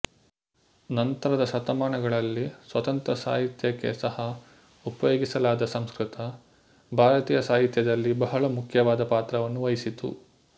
ನಂತರದ ಶತಮಾನಗಳಲ್ಲಿ ಸ್ವತಂತ್ರ ಸಾಹಿತ್ಯಕ್ಕೆ ಸಹ ಉಪಯೋಗಿಸಲಾದ ಸಂಸ್ಕೃತ ಭಾರತೀಯ ಸಾಹಿತ್ಯದಲ್ಲಿ ಬಹಳ ಮುಖ್ಯವಾದ ಪಾತ್ರವನ್ನು ವಹಿಸಿತು